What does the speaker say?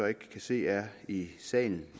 ikke kan se er i salen